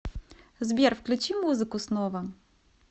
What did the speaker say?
сбер включи музыку снова